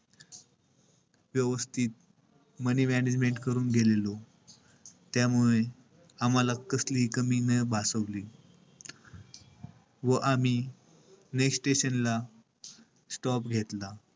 व्यवस्थित money management करून गेलेलो. त्यामुळे आम्हाला कसलीही कमी नाही भासवली. व आम्ही station ला stop घेतला.